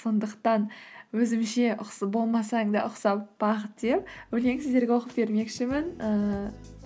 сондықтан өзімше болмасаң да деп өлең сіздерге оқып бермекшімін